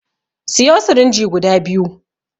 Siyo sirinji guda biyu